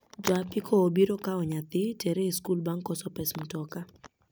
Ja apiko obiro kao nyathi tere e skul bang' koso pes motoka